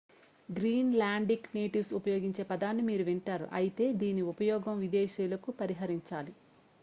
green లాండిక్ natives ఉపయోగించే పదాన్ని మీరు వింటారు అయితే దీని ఉపయోగం విదేశీయులకు పరిహరించాలి